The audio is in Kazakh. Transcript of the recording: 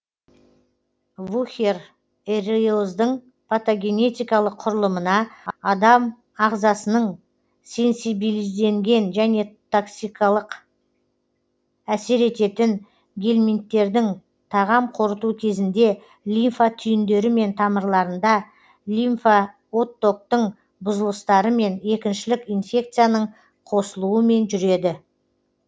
вухерериоздың патогенетикалық құрылымына адам ағзасының сенсибилизденген және токсикалық әсер ететін гельминттердің тағам қорыту кезінде лимфа түйіндерімен тамырларында лимфаоттоктың бұзылыстарымен екіншілік инфекцияның қосылуымен жүреді